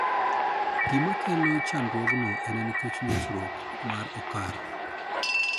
Gima kelo chandruogno en nikech nyosruok mar okar.